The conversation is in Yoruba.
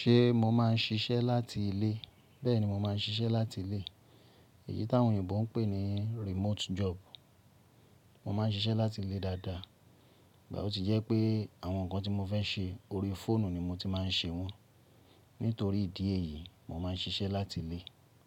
Ṣé mo máà ń ṣiṣẹ́ láti ilé? Bẹ́ẹ̀ni, mo máà ń ṣiṣẹ́ láti ilé. Èyí táwọn òyìnbó ń pè ní remote job. Mo máà ń ṣiṣẹ́ láti ilé dáadáa, ìgbà o ti jẹ́ pé àwọn nǹkan tí mo fẹ́ ṣe lórí fóònù ni mo ti máà ń ṣe wọ́n. Nítorí ìdí èyí, mo máà ń ṣiṣẹ́ láti ilé.